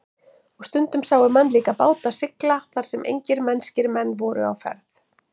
Og stundum sáu menn líka báta sigla þar sem engir mennskir menn voru á ferð.